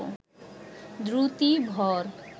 দ্রুতি, ভর